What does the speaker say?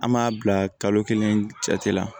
An m'a bila kalo kelen cɛti la